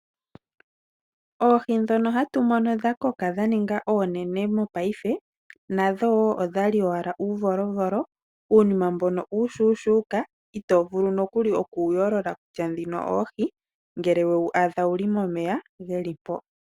Oohi ndhono hatu mono dha koka dhaninga oonene mopaife nadho odhali owala uuvolovolo uunima mbono uushushuka itovulu noku oku wu yolola kutya ndhino oohi ngele wewu adha wuli momeya geli mpo.